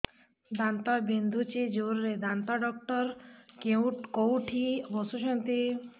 ଦାନ୍ତ ବିନ୍ଧୁଛି ଜୋରରେ ଦାନ୍ତ ଡକ୍ଟର କୋଉଠି ବସୁଛନ୍ତି